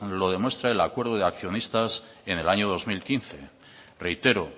lo demuestra el acuerdo de accionistas en el año dos mil quince reitero